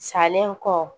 Salen kɔ